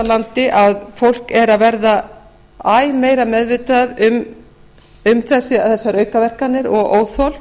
landi að fólk er að verða æ meira meðvitað um þessar aukaverkanir og óþol